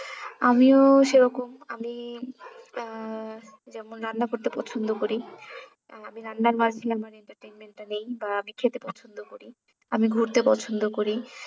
আমিও সেরকম আমি আহ যেমন রান্না করতে পছন্দ করি আহ আমি রান্নার মাধ্যমে আমার entertainment টা নিই বা আমি খেতে পছন্দ করি, আমি ঘুরতে পছন্দ করি।